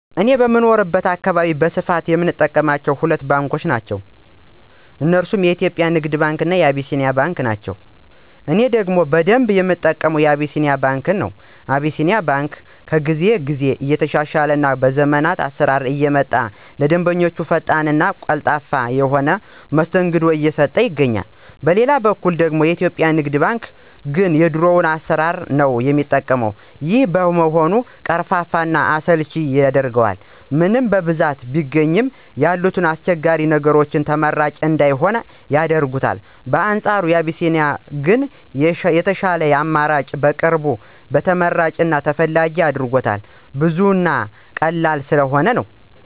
እኔ በምኖርበት አካባቢ በስፋት ሰው የሚጠቀማቸው ሁለት ባንኮችን ነው። እነርሱም የኢትዮጵያ ንግድ ባንክ እና አቢሲኒያ ባንክ ናቸው። እኔ ደግሞ በደንብ የምጠቀመው አቢሲኒያ ባንክ ነው። አቢሲኒያ ባንክ ከጊዜ ጊዜ እየተሻሻለ እና ዘመናዊ አሰራሮችን እያመጣ ለደንበኞቹ ፈጣን እና ቀልጣፋ የሆነ መስተንግዶ እየሰጠ ይገኛል። በሌላ በኩል ደግሞ የኢትዮጵያ ንግድ ባንክ ግን የድሮ አሰራሩን ነው የሚጠቀው። ይሄም በመሆኑ ቀርፋፋ እና አሰልቺ ያደርገዋል። ምንም በብዛት ቢገኝ ያሉት አስቸጋሪ ነገሮች ተመራጭ እንዳይሆን ያደርጉታል። በአንፃሩ አቢሲኒያ ግን የሻሉ አማራጮችን በማቅረብ ተመራጭ እና ተፈላጊ አድርጎታል። ብዙ እና ቀላል ስለሆኑ ነው።